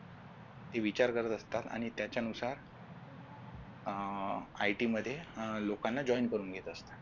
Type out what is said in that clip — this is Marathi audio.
हे विचार करत असतात आणि त्याच्या नुसार अह IT मध्ये अं लोकांना join करून घेत असतात